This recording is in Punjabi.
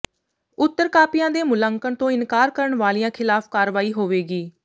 ਉੱਤਰ ਕਾਪੀਆਂ ਦੇ ਮੁਲਾਂਕਣ ਤੋਂ ਇਨਕਾਰ ਕਰਨ ਵਾਲਿਆਂ ਖ਼ਿਲਾਫ਼ ਕਾਰਵਾਈ ਹੋਵੇਗੀ